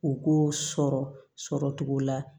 U k'o sɔrɔ sɔrɔ cogo la